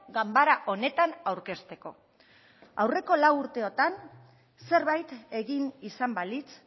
ganbara honetan aurkezteko aurreko lau urteotan zerbait egin izan balitz